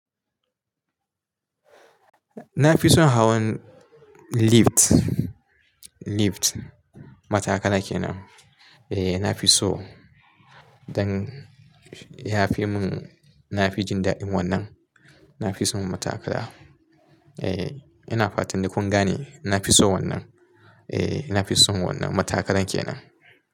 Na fi son hawan lift, lift. Matakala kenan, eh nafi so dan yafi mun nafi jin daɗin wannan na fi son matakara. Eh ina fatan dai kun gane. Na fi so wannan. Eh ina fi son wannan. Matakalan kenan.